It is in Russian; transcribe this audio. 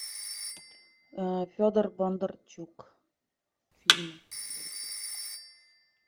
федор бондарчук фильмы